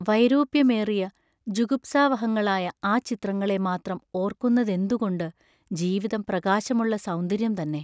വൈരൂപ്യമേറിയ ജുഗുപ്സാവഹങ്ങളായ ആ ചിത്രങ്ങളെ മാത്രം ഓർക്കുന്നതെന്തുകൊണ്ട് ജീവിതം പ്രകാശമുള്ള സൗന്ദര്യം തന്നെ!